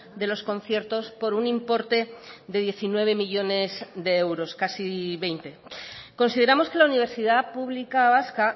de los conciertos por un importe de diecinueve millónes de euros casi veinte consideramos que la universidad pública vasca